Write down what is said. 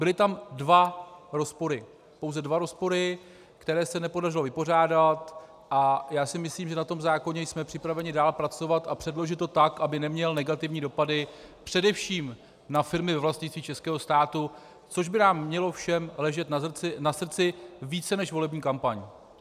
Byly tam dva rozpory, pouze dva rozpory, které se nepodařilo vypořádat, a já si myslím, že na tom zákoně jsme připraveni dál pracovat a předložit to tak, aby neměl negativní dopady především na firmy ve vlastnictví českého státu, což by nám všem mělo ležet na srdci více než volební kampaň.